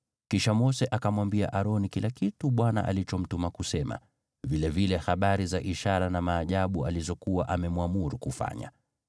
Kisha Mose akamwambia Aroni kila kitu Bwana alichomtuma kusema, vilevile habari za ishara na maajabu alizokuwa amemwamuru kufanya.